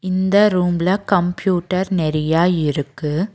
இந்த ரூம்ல கம்ப்யூட்டர் நெறையா இருக்கு.